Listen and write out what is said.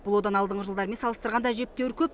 бұл одан алдыңғы жылдармен салыстырғанда әжептеуір көп